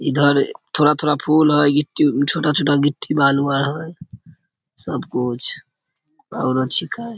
इधर थोड़ा-थोड़ा फूल है गिट्टी छोटा-छोटा गिट्टी बालू आर है सब कुछ छिके।